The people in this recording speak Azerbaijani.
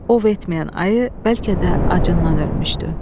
Ov etməyən ayı bəlkə də acından ölmüşdü.